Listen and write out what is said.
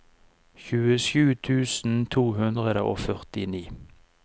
tjuesju tusen to hundre og førtini